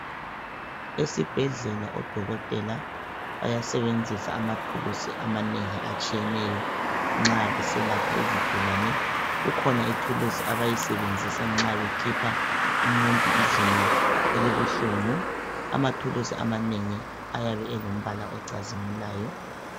Esibhedlela odokothela bayasebenzisa amathulusi amanengi atshiyeneyo nxa beselapha isigulani ,kukhona ithulusi abayisebenzisa nxa bekhipha umuntu izinyo elibuhlungu, amathulusi amanengi ayabe elombala ocazimulayo.